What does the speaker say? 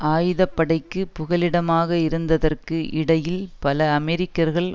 ஆயுதப்படைக்கு புகலிடமாக இருந்ததற்கு இடையில் பல அமெரிக்கர்கள்